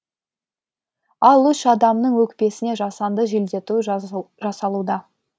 ал үш адамның өкпесіне жасанды желдету жасалуда